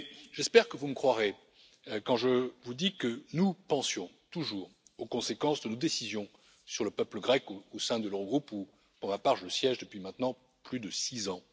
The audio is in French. J'espère que vous me croirez quand je vous dis que nous pensions toujours aux conséquences de nos décisions pour le peuple grec au sein de l'Eurogroupe où, pour ma part, je siège depuis maintenant plus de six ans.